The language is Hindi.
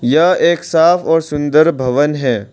यह एक साफ और सुंदर भवन है।